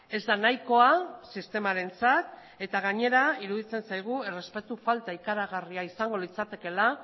ez da nahikoa sistemarentzat eta gainera iruditzen zaigu errespetu falta ikaragarria izango litzakeela